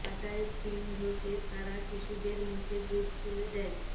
পাটায় শিং ঘষে তারা শিশুদের মুখে দুধ তুলে দেয়